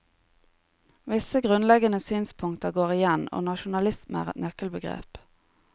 Visse grunnleggende synspunkter går igjen, og nasjonalisme er et nøkkelbegrep.